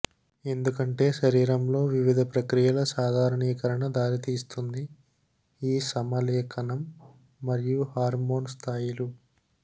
ఎందుకంటే శరీరంలో వివిధ ప్రక్రియల సాధారణీకరణ దారితీస్తుంది ఈ సమలేఖనం మరియు హార్మోన్ స్థాయిలు